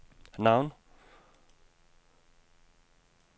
navn